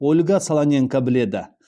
ольга солоненко біледі